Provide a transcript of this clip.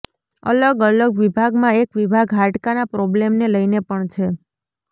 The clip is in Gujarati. અલગ અલગ વિભાગમાં એક વિભાગ હાડકા ના પ્રોબ્લેમ ને લઈ ને પણ છે